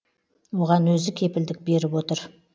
оған өзі кепілдік беріп отыр